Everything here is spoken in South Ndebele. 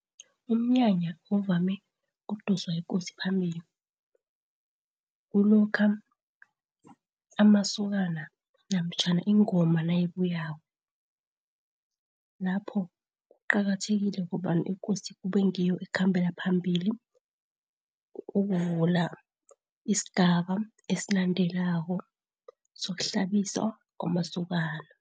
Umnyanya uvame ukudoswa yiKosi phambili, kulokha amasokana namtjhana ingoma nayibuyako. Lapho kuqakathekile ngombana iKosi kuba ngiyo ekhambela phambili ukuvula isigaba esilandelako sokuhlabiswa kwamasokana.